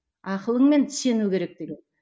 ақылыңмен сену керек деген